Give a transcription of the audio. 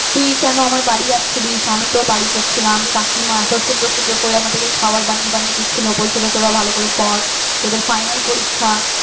তুই কেন আমার বাড়ি আসছিলিস আমি তোর বাড়ি যাচ্ছিলাম কাকিমা এত সুন্দর সুন্দর করে আমাদেরকে খাবার বানিয়ে বানিয়ে দিচ্ছিল বলছিলো তোরা ভালো করে পড় তোদের final পরীক্ষা